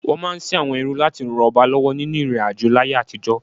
Wọ́n máa ń sin àwọn ẹrú láti ràn ọba lọ́wọ́ nínú ìrìnàjò láyé àtijọ́.